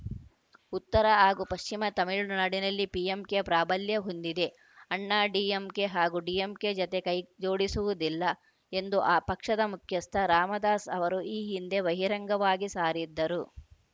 ಉತ್ತರ ಹಾಗೂ ಪಶ್ಚಿಮ ತಮಿಳುನಾಡಿನಲ್ಲಿ ಪಿಎಂಕೆ ಪ್ರಾಬಲ್ಯ ಹೊಂದಿದೆ ಅಣ್ಣಾಡಿಎಂಕೆ ಹಾಗೂ ಡಿಎಂಕೆ ಜತೆ ಕೈಜೋಡಿಸುವುದಿಲ್ಲ ಎಂದು ಆ ಪಕ್ಷದ ಮುಖ್ಯಸ್ಥ ರಾಮದಾಸ್‌ ಅವರು ಈ ಹಿಂದೆ ಬಹಿರಂಗವಾಗಿ ಸಾರಿದ್ದರು